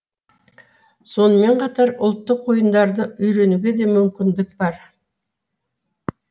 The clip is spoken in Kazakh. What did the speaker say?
сонымен қатар ұлттық ойындарды үйренуге де мүмкіндік бар